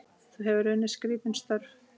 Þú hefur unnið skrítin störf?